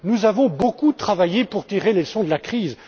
Nous avons beaucoup travaillé pour tirer les leçons de la crise.